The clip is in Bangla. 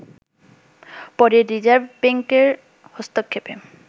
পরে রিজার্ভ ব্যাঙ্কের হস্তক্ষেপে